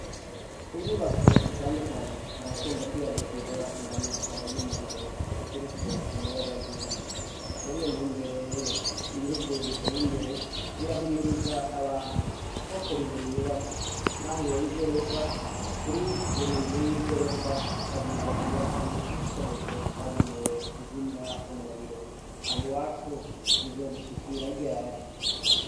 Ku nyubako zitandukanye harakunda kwiyadukiza impanuka y'umuriro uturutse ku muyagankuba, muriyo ntumbero rero ibihugu biteye imbere birahimiriza abantu ko kuri buri nyubaka naho yoba igorofa, kuri buri nzu y'igorofa habwizwa kuba hari igikoresho cagenewe kuzimya umuriro, aho iwacu bizodushikira ryari.